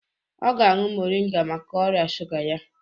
Ọ ga-añụ moringa maka ọrịa shuga ya.